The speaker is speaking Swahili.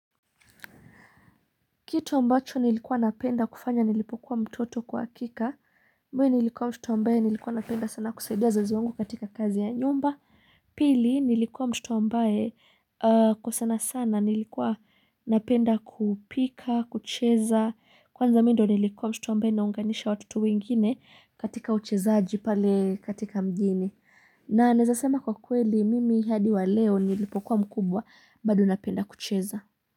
Kitu ambacho nilikuwa napenda kufanya nilipokuwa mtoto kwakika. Mwe nilikuwa mshtu ambae nilikuwa napenda sana kusaidia wazazi wangu katika kazi ya nyumba. Pili nilikuwa mtotu ambae kwa sana sana nilikuwa napenda kupika, kucheza. Kwanza mi ndo nilikuwa mshtu mbae naunganisha watutu wengine katika uchezaaji pale katika mjini. Na naezasema kwa kweli mimi hadi wa leo nilipokuwa mkubwa bado napenda kucheza.